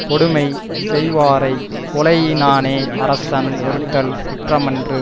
கொடுமை செய்வாரைக் கொலையினானே அரசன் ஒறுத்தல் குற்றமன்று